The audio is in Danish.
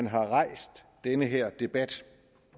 have rejst den her debat